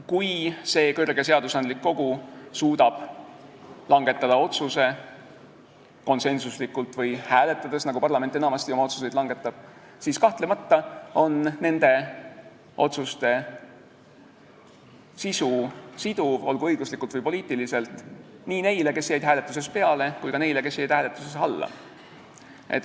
Kui see kõrge seadusandlik kogu suudab langetada otsuse konsensuslikult või hääletades, nagu parlament enamasti oma otsuseid langetab, siis kahtlemata on selle otsuse sisu siduv, olgu õiguslikult või poliitiliselt, nii neile, kes jäid hääletuses peale, kui ka neile, kes jäid hääletuses alla.